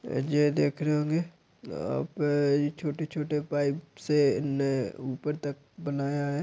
ये जो देख रहे होंगे अ आपका छोटे-छोटे पाइप से ने ऊपर तक बनाया है।